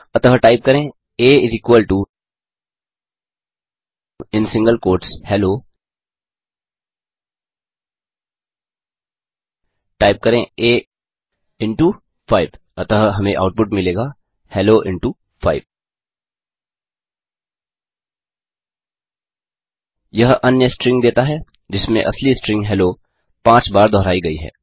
अतः टाइप करें a in single quotes hello type करें आ इंटो 5 अतः हमें आउटपुट मिलेगा हेलो इंटो 5 यह अन्य स्ट्रिंग देता है जिसमें असली स्ट्रिंग हेलो 5 बार दोहराई गयी है